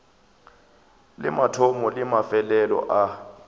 le mathomo le mafelelo a